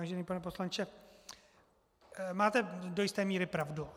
Vážený pane poslanče, máte do jisté míry pravdu.